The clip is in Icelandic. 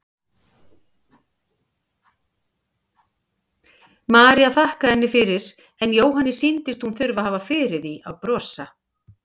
María þakkaði henni fyrir en Jóhanni sýndist hún þurfa að hafa fyrir því að brosa.